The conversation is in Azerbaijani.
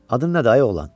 Adın nədir ay oğlan?